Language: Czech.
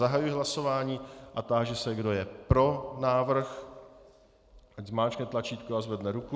Zahajuji hlasování a táži se, kdo je pro návrh, ať zmáčkne tlačítko a zvedne ruku.